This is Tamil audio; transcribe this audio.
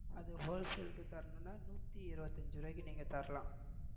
நூத்தி இருபத்தியஞ்சு ரூபாய்க்கு நீங்க தரலாம்.